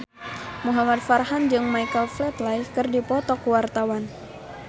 Muhamad Farhan jeung Michael Flatley keur dipoto ku wartawan